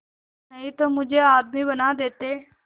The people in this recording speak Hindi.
नहीं तो मुझे आदमी बना देते